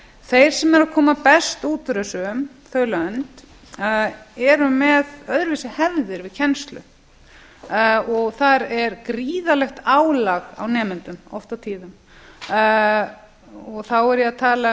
þeir sem eru að koma best út úr þessu þau lönd eru með öðruvísi hefðir við kennslu þar er gríðarlegt álag á nemendum oft á tíðum þá er ég að tala